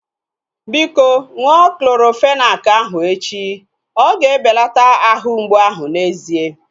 Biko, ṅụọ Clorofenak ahu echi. Oga ebelata ahụ mgbu ahu n'ezie